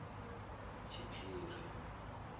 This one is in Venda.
tshiphiri